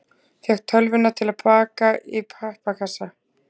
Fékk tölvuna til baka í pappakassa